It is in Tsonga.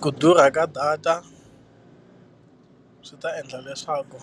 Ku durha ka data swi ta endla leswaku